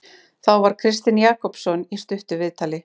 Þá var Kristinn Jakobsson í stuttu viðtali.